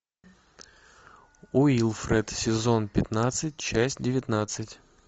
уилфред сезон пятнадцать часть девятнадцать